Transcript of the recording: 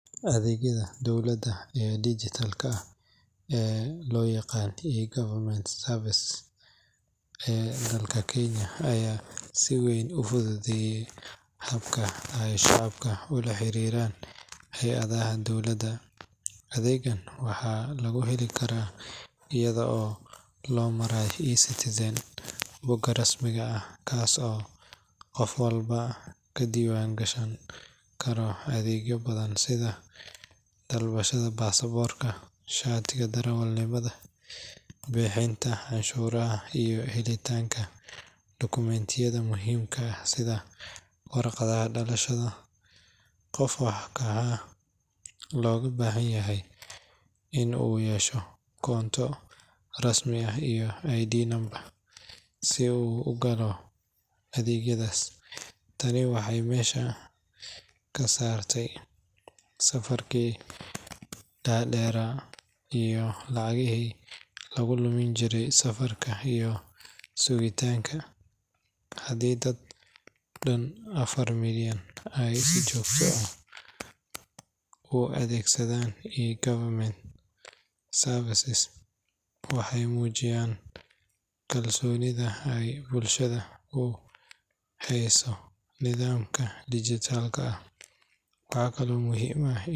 Adeegyada dowladda ee dhijitaalka ah ee loo yaqaan eGovernment services ee dalka Kenya ayaa si weyn u fududeeyay habka ay shacabka ula xiriiraan hay’adaha dowladda. Adeeggan waxaa lagu heli karaa iyada oo loo marayo eCitizen bogga rasmiga ah, kaas oo qof walba ka diiwaangashan karo adeegyo badan sida dalbashada baasaboorka, shatiga darawalnimada, bixinta canshuuraha, iyo helitaanka dukumentiyada muhiimka ah sida warqadda dhalashada. Qofka waxaa looga baahan yahay in uu yeesho koonto rasmi ah iyo ID number si uu u galo adeegyadaas. Tani waxay meesha ka saartay safafkii dhaadheeraa iyo lacagihii lagu lumin jiray safarka iyo sugitaanka. Haddii dad dhan afar milyan ay si joogto ah u adeegsanayaan eGovernment, waxay muujinaysaa kalsoonida ay bulshada u hayso nidaamka dhijitaalka ah. Waxaa kale oo muhiim ah in.